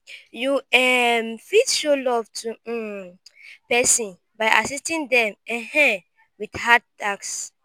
you um fit show love to um person by assiting them um with hard tasks